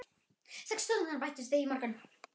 Sex stúdentar bættust við í morgun.